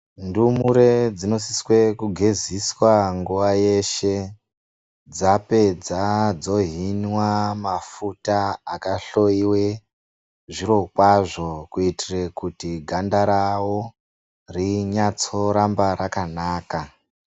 Ndumure dzinosiswA kugeziswa nguwa yeshe dzapersa dzohinwa mafuta akahloiwe zviro kwazvo kuitire kuti ganda rawo rinyatso unge rirambe rakanaka.